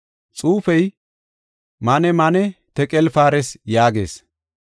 “Xuufey, ‘MAANE, MAANE, TEQEL, PAARES’ yaagees.